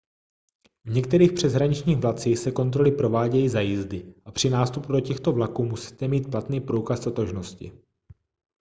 v některých přeshraničních vlacích se kontroly provádějí za jízdy a při nástupu do těchto vlaků musíte mít platný průkaz totožnosti